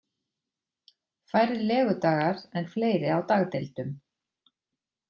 Færri legudagar en fleiri á dagdeildum